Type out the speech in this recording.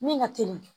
Min ka teli